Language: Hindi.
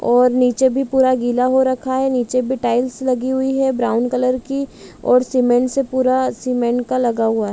और नीचे भी पूरा गिला हो रखा हैं नीचे भी टाइल्स लगी हुई हैं ब्राउन कलर की और सीमेंट से पूरा सीमेंट का लगा हुआ हैं।